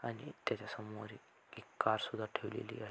आणि त्याच्या समोर एक एक कार सुद्धा ठेवलेली आ --